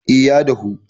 eh ya dahu